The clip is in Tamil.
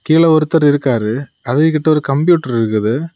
கீழ ஒருத்தர் இருக்காரு அதுகிட்ட ஒரு கம்ப்யூட்டர் இருக்குது.